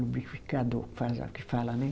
Lubrificador fala que fala, né?